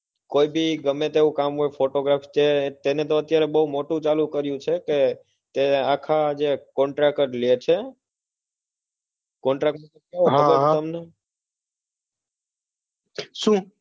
કોઈ ભી ગમે તેવું કામ હોય photographs કે એને બહુ મોટું કામ કરે છે એ આખા contract જ લે છે contract હા હા શું